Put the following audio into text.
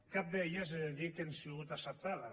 cap d’elles he de dir que han sigut acceptades